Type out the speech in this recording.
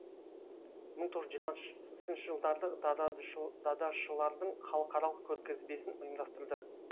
мың тоғыз жүз жиырмасыншы жылдарды дадашылардың халықаралық көргізбесін ұйымдастырды